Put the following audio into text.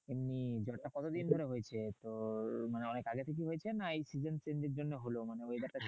এমনি জ্বরটা কতদিন ধরে হয়েছে? তোর মানে অনেক আগে থেকেই হয়েছে না এই season change এর জন্য হলো? মানে weather টার